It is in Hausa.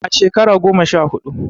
A shekara goma sha huɗu.